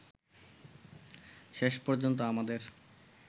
শেষ পর্যন্ত আমাদের